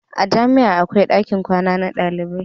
a jami'a akwai ɗakin kwana na ɗalibai